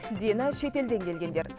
дені шетелден келгендер